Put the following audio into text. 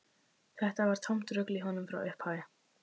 Þetta var tómt rugl í honum frá upphafi.